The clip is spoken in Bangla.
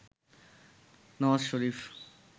নওয়াজ শরিফ